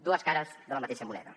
dues cares de la mateixa moneda